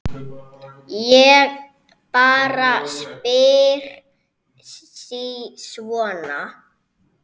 Ég bara spyr sí svona.